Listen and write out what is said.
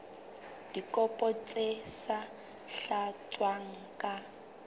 dikopo tse sa tlatswang ka